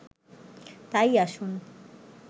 তাই আসুন